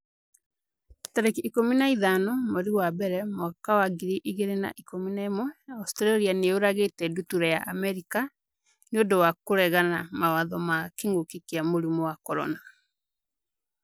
tarĩki ikũmi na ithano mweri wa mbere mwaka wa ngiri igĩrĩ na ikũmi na ĩmweAustralia nĩ yũragĩte ndutura ya Amerika 'nĩ ũndũ wa kũregana mawatho ma kĩngũki kia mũrimũ wa CORONA